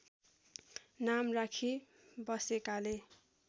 नाम राखी बसेकाले